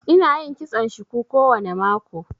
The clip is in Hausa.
Ina yin kitson shuku kowane mako